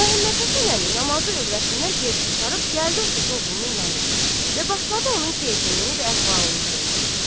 Məmmədhəsən əmi namazı övrətindən tez qurtarıb gəlib oturdu oğlunun yanında və başladı onun keyfini və əhvalını sormağa.